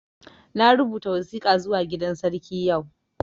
Na rubuta wasika zuwa gidan sarki yau